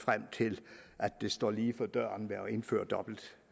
frem til at det står lige for døren at indføre dobbelt